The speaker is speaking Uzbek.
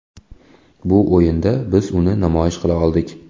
Bu o‘yinda biz uni namoyish qila oldik.